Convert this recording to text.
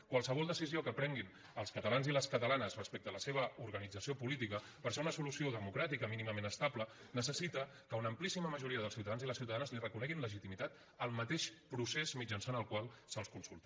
qualsevol decisió que prenguin els catalans i les ca·talanes respecte a la seva organització política per ser una solució democràtica mínimament estable neces·sita que una amplíssima majoria dels ciutadans i les ciutadanes li reconeguin legitimitat al mateix procés mitjançant el qual se’ls consulta